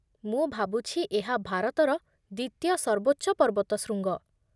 ମୁଁ ଭାବୁଛି ଏହା ଭାରତର ଦ୍ଵିତୀୟ ସର୍ବୋଚ୍ଚ ପର୍ବତଶୃଙ୍ଗ